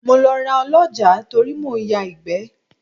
Mo lọ ra Ọlọ́jàá torí mò ń ya ìgbẹ́.